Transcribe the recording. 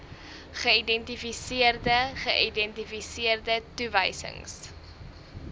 geïdentifiseerde geïdentifiseerde toewysings